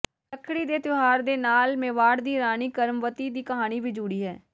ਰੱਖੜੀ ਦੇ ਤਿਉਹਾਰ ਦੇ ਨਾਲ ਮੇਵਾੜ ਦੀ ਰਾਣੀ ਕਰਮਵਤੀ ਦੀ ਕਹਾਣੀ ਵੀ ਜੁੜੀ ਹੈ